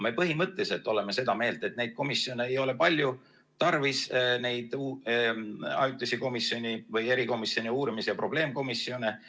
Me põhimõtteliselt oleme seda meelt, et neid komisjone ei ole palju tarvis, neid ajutisi komisjone või erikomisjone, uurimis- ja probleemkomisjone.